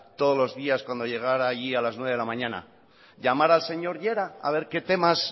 todos los días cuando llegara allí a las nueve de la mañana llamar al señor llera a ver qué temas